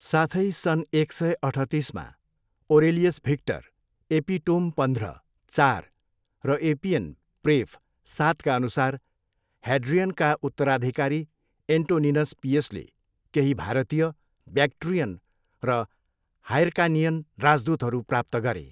साथै सन् एक सय अठतिसमा, ओरेलियस भिक्टर, एपिटोम पन्ध्र, चार, र एपियन, प्रेफ, सातका अनुसार, ह्याड्रियनका उत्तराधिकारी एन्टोनिनस पियसले केही भारतीय, ब्याक्ट्रियन र हाइर्कानियन राजदूतहरू प्राप्त गरे।